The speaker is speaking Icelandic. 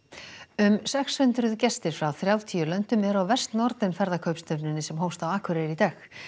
um sex hundruð gestir frá þrjátíu löndum eru á Vestnorden ferðakaupstefnunni sem hófst á Akureyri í dag